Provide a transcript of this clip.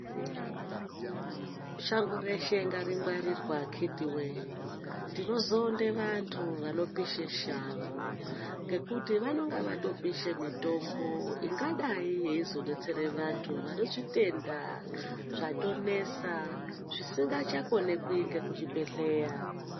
Shango reshe ngaringwarirwe akhiti wee. Tinozonde vantu vanopishe shango ngekuti vanenge vatopishe mitombo ingadai yeizodetsere vantu vanezvitenda zvatonesa zvisingachakonekwi nekuchibhedhlera.